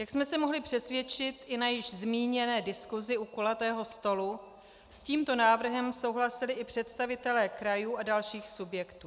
Jak jsme se mohli přesvědčit i na již zmíněné diskusi u kulatého stolu, s tímto návrhem souhlasili i představitelé krajů a dalších subjektů.